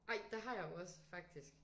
Ej det har jeg jo også faktisk